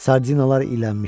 Sardinalar lilənmişdi.